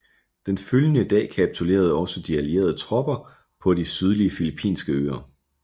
Den følgende dag kapitulerede også de allierede tropper på de sydlige filippinske øer